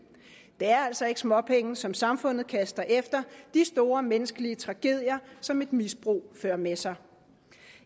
det er altså ikke småpenge som samfundet kaster efter de store menneskelige tragedier som et misbrug fører med sig